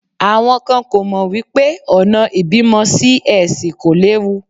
Àwọn kan kò mọ̀ wípé ọ̀nà ìbímọ Sí-Ẹsì kò léwu.